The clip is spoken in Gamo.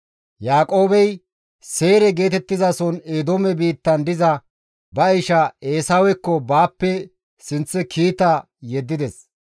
Yaaqoobey Seyre geetettizason Eedoome biittan diza ba isha Eesawekko baappe sinththe kiita yeddides.